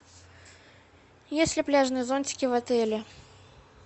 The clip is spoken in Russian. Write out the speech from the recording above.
есть ли пляжные зонтики в отеле